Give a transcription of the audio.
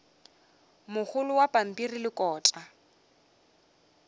mogolo wa pampiri le kota